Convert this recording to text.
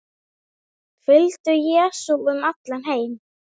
Fylgdu Jesú um allan heim